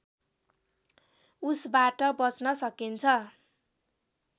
उसबाट बच्न सकिन्छ